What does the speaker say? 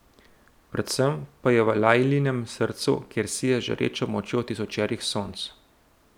Predvsem pa je v Lajlinem srcu, kjer sije z žarečo močjo tisočerih sonc.